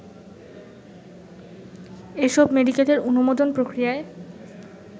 এসব মেডিকেলের অনুমোদন প্রক্রিয়ায়